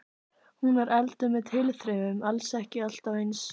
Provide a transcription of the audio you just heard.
Hún var elduð með tilþrifum, alls ekki alltaf eins.